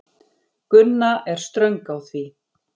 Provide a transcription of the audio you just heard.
Gunna er ströng á því.